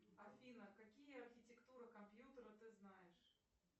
афина какие архитектуры компьютера ты знаешь